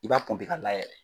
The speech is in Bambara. I b'a ka layɛlɛ.